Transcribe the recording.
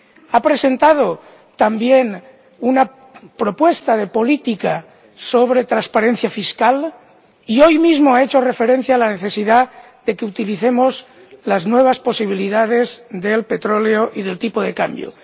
ha presentado también una propuesta política sobre transparencia fiscal y, hoy mismo, ha hecho referencia a la necesidad de que utilicemos las nuevas posibilidades del petróleo y del tipo de cambio.